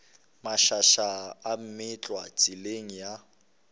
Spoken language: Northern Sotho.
mašaša a meetlwa tseleng ya